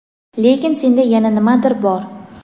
Lekin senda yana nimadir bor.